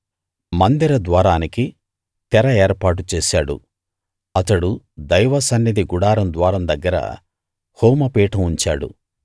మందిర ద్వారానికి తెర ఏర్పాటు చేశాడు అతడు దైవ సన్నిధి గుడారం ద్వారం దగ్గర హోమపీఠం ఉంచాడు